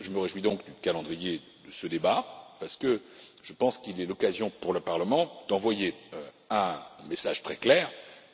Je me réjouis donc du calendrier de ce débat, parce que je pense qu'il est l'occasion pour le Parlement d'envoyer un message très clair